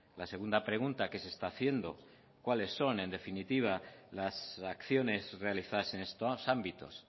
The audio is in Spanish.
la segunda pregunta qué se está haciendo cuáles son en definitiva las acciones realizadas en estos ámbitos